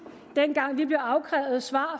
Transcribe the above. dengang vi blev afkrævet svar